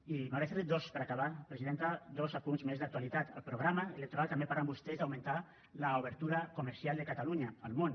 i m’agradaria fer li per acabar presidenta dos apunts més d’actualitat al programa electoral també parlen vostès d’augmentar l’obertura comercial de catalunya al món